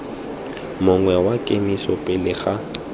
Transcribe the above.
mongwe wa kemiso pele ga